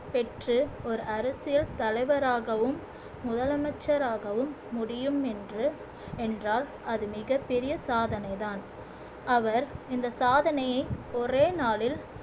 பெற்று ஒரு அரசியல் தலைவராகவும் முதலமைச்சராகவும் முடியும் என்று என்றால் அது மிகப் பெரிய சாதனைதான் அவர் இந்த சாதனையை ஒரே நாளில்